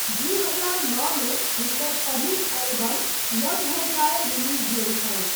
दू हजार नओमे हुनकर पहिल एल्बम लव हो जाये रिलीज भेल छल।